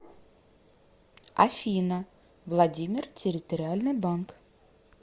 афина владимир территориальный банк